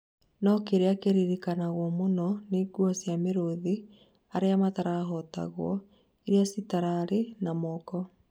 No kĩria kĩraririkanwo mũno nĩ ngũo cĩa mĩrũthi aria matahotagwo iria citararĩ na moko.